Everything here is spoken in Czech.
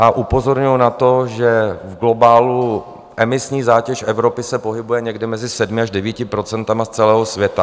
A upozorňuji na to, že v globálu emisní zátěž Evropy se pohybuje někde mezi 7 až 9 % z celého světa.